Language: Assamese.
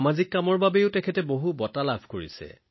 সামাজিক কামৰ বাবেও তেওঁ বহু বঁটা লাভ কৰিছে